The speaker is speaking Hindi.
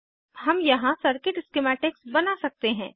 हम यहाँ सर्किट स्किमैटिक्स बना सकते हैं